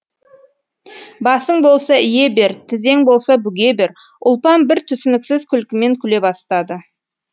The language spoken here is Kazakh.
басың болса ие бер тізең болса бүге бер ұлпан бір түсініксіз күлкімен күле бастады